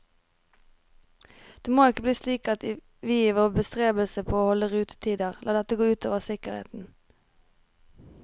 Det må ikke bli slik at vi i vår bestrebelse på å holde rutetider lar dette gå ut over sikkerheten.